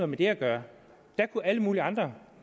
med det at gøre der kunne alle mulige andre